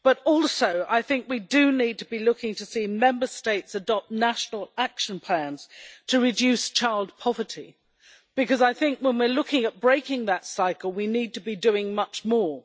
Also, I think we do need to be looking to see Member States adopt national action plans to reduce child poverty, because I think when we are looking at breaking that cycle we need to be doing much more.